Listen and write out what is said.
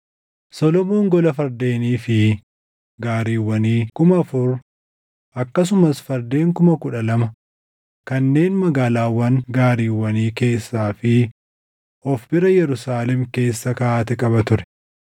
Solomoon gola fardeenii fi gaariiwwanii kuma afur akkasumas fardeen kuma kudha lama kanneen magaalaawwan gaariiwwanii keessaa fi of bira Yerusaalem keessa kaaʼate qaba ture.